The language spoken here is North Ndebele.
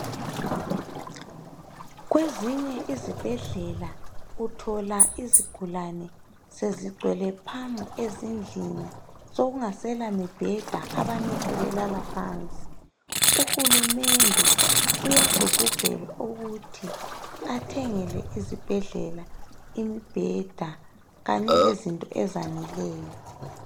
Kwezinye izibhedlela uthola izigulane Sezigcwele phamu ezindlini Sokungasela mibheda abanye sebelala phansi. Uhulumende uyagqugqizelwa ukuthi athengele izibhedlela imibheda Kanye lezinto ezaneleyo.